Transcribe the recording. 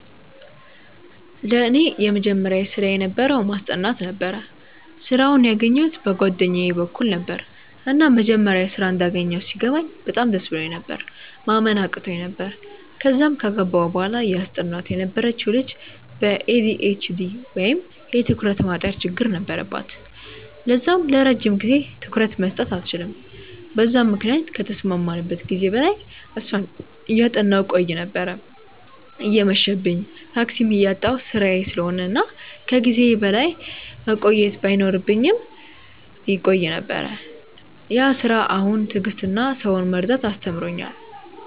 ለኔ የመጀመሪያ ስራየ የነበረው ማስጠናት ነበረ። ስራውን ያገኘዉት በ ጓደኛየ በኩል ነበረ፤ እና መጀመሪያ ስራ እንዳገኘው ሲገባኝ በጣም ደስ ብሎኝ ነበር፤ ማመን አቅቶኝ ነበር፤ ከዛም ከገባው በኋላ እያስጠናዋት የነበረችው ልጅ በ ኤ.ዲ.ኤ.ች.ዲ ወይም የ ትኩረት ማጠር ችግር ነበረባት ለዛም ለረጅም ጊዜ ትኩረት መስጠት አትችልም በዛም ምክንያት ከተስማማንበት ጊዜ በላይ እሷን እያጠናው ቆይ ነበር፤ እየመብኝም፤ ታክሲም እያጣው ስራዬ ስለሆነ እና ከ ጊዜዬ በላይ መቆየት ባይኖርብኝም እቆይ ነበር፤ ያ ስራ አሁን ትዕግስትን እና ሰውን መረዳትን አስተምሮኛል።